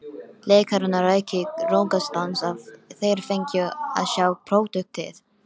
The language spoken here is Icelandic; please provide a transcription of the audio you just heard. Leikarana ræki í rogastans ef þeir fengju að sjá pródúktið.